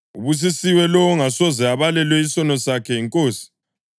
Ubusisiwe lowo ongasoze abalelwe isono sakhe yiNkosi.” + 4.8 AmaHubo 32.1-2